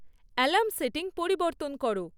alarm setting পরিবর্তন করো